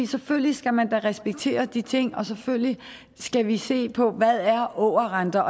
selvfølgelig skal man da respektere de ting og selvfølgelig skal vi se på hvad ågerrenter